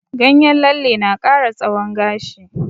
Ganyen lalle na ƙara tsawon gashi.